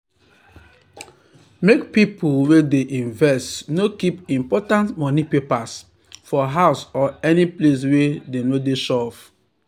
make pipu wey dey invest no keep important money papers for house or any place wey no sure.